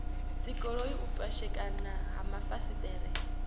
dzigoloi u pwashekana ha mafasiṱere